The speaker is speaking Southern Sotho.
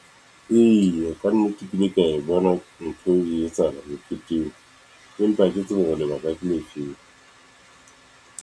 Eya kannete ke ile kea bona, ntho e etsahala meketeng, empa ke tsebe hore lebaka ke le efeng.